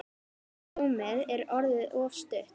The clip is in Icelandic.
Rúmið er orðið of stutt.